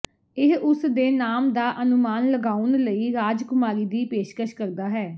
ਇਹ ਉਸ ਦੇ ਨਾਮ ਦਾ ਅਨੁਮਾਨ ਲਗਾਉਣ ਲਈ ਰਾਜਕੁਮਾਰੀ ਦੀ ਪੇਸ਼ਕਸ਼ ਕਰਦਾ ਹੈ